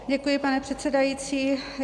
Děkuji, pane předsedající.